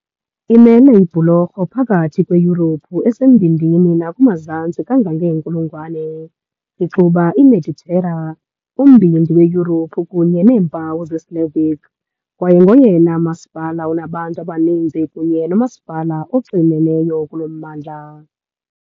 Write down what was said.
Imele ibhulorho phakathi kweYurophu esembindini nakumazantsi kangangeenkulungwane, ixuba iMeditera, uMbindi weYurophu kunye neempawu zeSlavic kwaye ngoyena masipala unabantu abaninzi kunye nomasipala oxineneyo kulo mmandla .